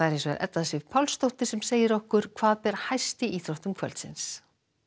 Edda Sif Pálsdóttir sem segir okkur hvað ber hæst í íþróttum kvöldsins